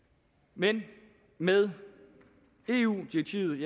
men med eu direktivet